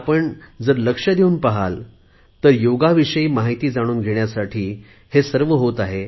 आपण जर लक्ष देऊन पाहिले तर योगाविषयी माहिती जाणून घेण्यासाठीच हे सर्व होत आहे